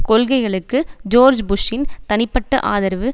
கொள்கைகளுக்கு ஜோர்ஜ் புஷ்சின் தனிப்பட்ட ஆதரவு